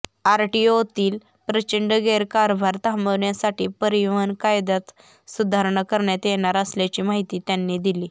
आरटीओतील प्रचंड गैरकारभार थांबविण्यासाठी परिवहन कायद्यात सुधारणा करण्यात येणार असल्याची माहिती त्यांनी दिली